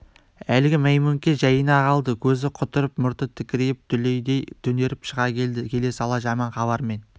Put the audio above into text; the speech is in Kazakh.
әлгі мәймөңке жайына қалды көзі құтырып мұрты тікірейіп дүлейдей түнеріп шыға келді келе сала жаман хабармен